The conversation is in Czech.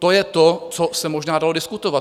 To je to, co se možná dalo diskutovat.